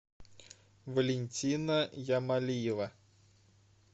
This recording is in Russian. валентина ямалиева